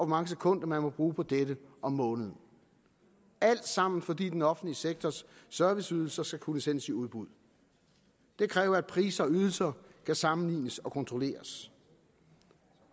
mange sekunder man må bruge på dette om måneden alt sammen fordi den offentlige sektors serviceydelser skal kunne sendes i udbud det kræver at priser og ydelser kan sammenlignes og kontrolleres